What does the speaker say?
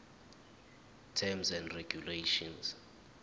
terms of regulation